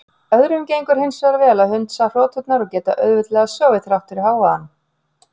Öðrum gengur hins vegar vel að hundsa hroturnar og geta auðveldlega sofið þrátt fyrir hávaðann.